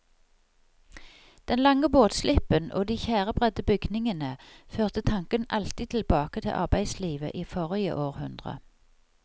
Den lange båtslippen og de tjærebredde bygningene førte tanken alltid tilbake til arbeidslivet i forrige århundre.